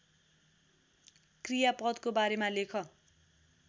कृयापदको बारेमा लेख